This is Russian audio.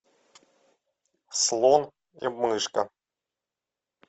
слон и мышка